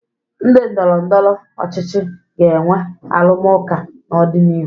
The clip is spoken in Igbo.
Ndị ndọrọndọrọ ọchịchị ga-enwe arụmụka n'ọdịnihu.